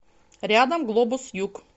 рядом глобус юг